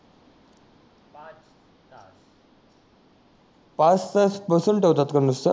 पाच तास बसवून ठेवतात का नुसत